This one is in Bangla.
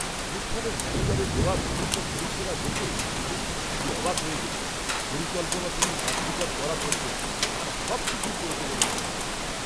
অনুষ্ঠানের ম্যানেজারের দেওয়া বিভিন্ন পরিষেবা দেখে আমি সত্যিই অবাক হয়ে গেছি, পরিকল্পনা থেকে কার্যকর করা পর্যন্ত, তারা সবকিছুই করেছে বলে মনে হচ্ছে!